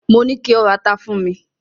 Mo ní ko ra ata fún mi!